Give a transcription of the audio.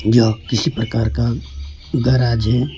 यह किसी प्रकार का गैरेज है।